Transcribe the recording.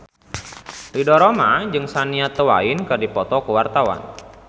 Ridho Roma jeung Shania Twain keur dipoto ku wartawan